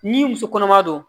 Ni muso kɔnɔma don